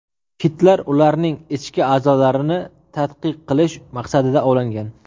Kitlar ularning ichki a’zolarini tadqiq qilish maqsadida ovlangan.